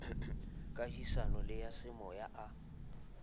kahisano le a semoya a